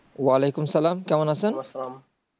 ওয়ালিকুম সালাম কেমন আছেন?